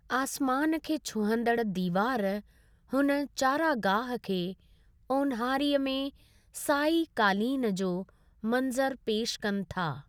आसमानु खे छुहंदड़ दीवार हुन चरागाह खे ओनहारी में साई क़ालीन जो मन्ज़रु पेश कनि था।